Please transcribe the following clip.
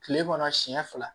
Kile kɔnɔ siɲɛ fila